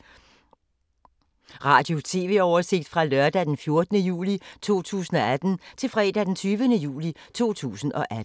Radio/TV oversigt fra lørdag d. 14. juli 2018 til fredag d. 20. juli 2018